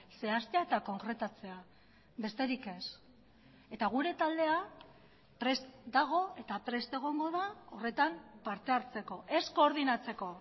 zehaztea eta konkretatzea besterik ez eta gure taldea prest dago eta prest egongo da horretan parte hartzeko ez koordinatzeko